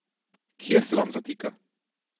Kje se vam zatika?